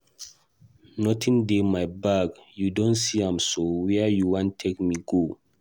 Nothing dey my bag, you don see am so where you wan take me go?